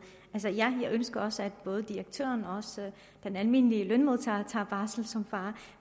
altså jeg ønsker også at både direktøren og den almindelige lønmodtager tager barsel som far